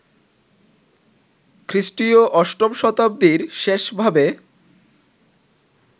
খ্রীষ্টীয় অষ্টম শতাব্দীর শেষ ভাবে